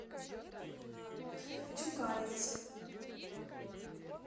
тюкалинск